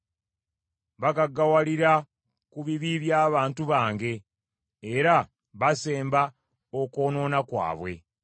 Bagaggawalira ku bibi by’abantu bange, era basemba okwonoona kwabwe.